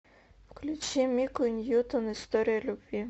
включи мику ньютон история любви